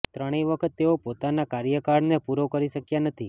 ત્રણેય વખત તેઓ પોતાના કાર્યકાળને પૂરો કરી શક્યા નથી